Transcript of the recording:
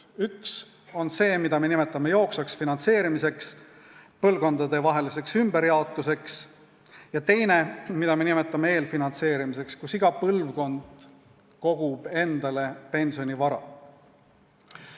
Üks on see, mida me nimetame jooksvaks finantseerimiseks, põlvkondadevaheliseks ümberjaotuseks, ja teine on see, mida me nimetame eelfinantseerimiseks, mille korral kogub iga põlvkond endale pensionivara ise.